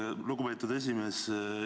Aitäh, lugupeetud esimees!